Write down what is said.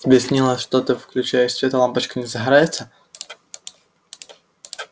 тебе снилось что ты включаешь свет а лампочка не загорается